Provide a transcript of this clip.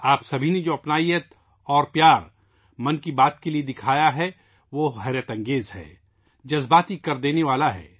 آپ سب نے 'من کی بات' کے لیے جو قربت اور پیار دکھایا ہے وہ بے مثال ہے اور جذباتی کر دینے والا ہے